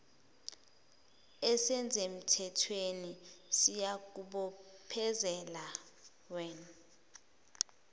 esisemthethweni siyakubophezela wean